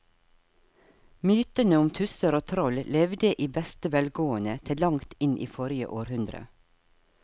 Mytene om tusser og troll levde i beste velgående til langt inn i forrige århundre.